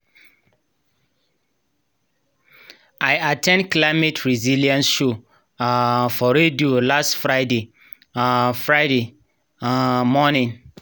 i at ten d climate resilience show um for radio last friday um friday um morning.